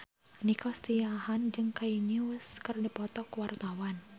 Nico Siahaan jeung Kanye West keur dipoto ku wartawan